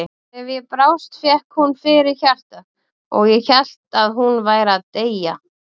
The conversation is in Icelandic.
Ef ég brást fékk hún fyrir hjartað og ég hélt að hún væri að deyja.